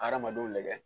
Hadamadenw nɛgɛ